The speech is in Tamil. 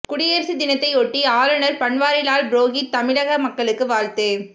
குடியரசு தினத்தை ஒட்டி ஆளுநர் பன்வாரிலால் புரோகித் தமிழக மக்களுக்கு வாழ்த்து